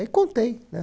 Aí contei, né?